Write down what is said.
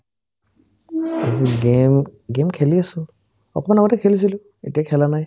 আজি game game খেলি আছো অকন আগতে খেলিছিলো এতিয়া খেলা নাই